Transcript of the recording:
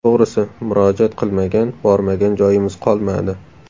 To‘g‘risi, murojaat qilmagan, bormagan joyimiz qolmadi.